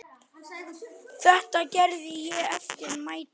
Þetta gerði ég eftir mætti.